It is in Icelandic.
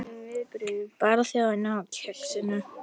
Barþjónn á Kexinu?